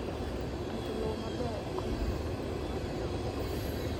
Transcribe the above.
Rito lowo maber konyo e medo nyak mar cham.